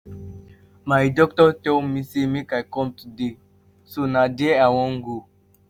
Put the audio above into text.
my doctor tell me say make i come today so na there i wan go